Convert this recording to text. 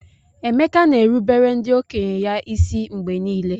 Emeka na-erubere ndị okenye ya isi mgbe niile.